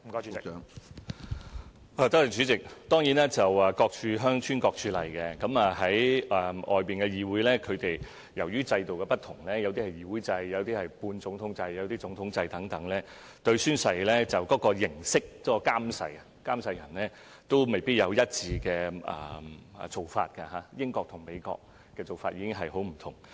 主席，各處鄉村各處例，就海外議會而言，由於各地制度不同，例如議會制、半總統制、總統制等，對宣誓的形式、監誓人未必有一致做法，例如英國和美國的做法已很不同。